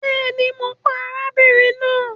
Bẹẹni, Mo pa arábìnrin náà